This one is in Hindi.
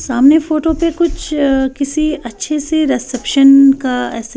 सामने फोटो पे कुछ किसी अच्छे से रिसेप्शन का--